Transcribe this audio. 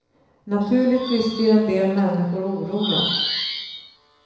Naturligtvis blir en del människor oroliga.